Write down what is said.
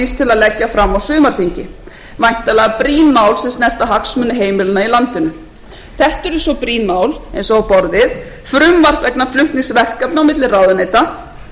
að leggja fram á sumarþingi væntanlega brýn mál sem snerta hagsmuni heimilanna í landinu þetta eru svo brýn mál eins og á borðið frumvarp vegna flutnings verkefna á milli ráðuneyta frumvarp um persónukjör frumvarp